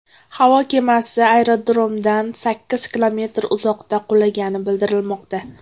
Havo kemasi aerodromdan sakkiz kilometr uzoqda qulagani bildirilmoqda.